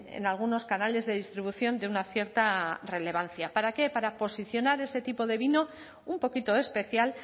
en algunos canales de distribución de una cierta relevancia para qué para posicionar ese tipo de vino un poquito especial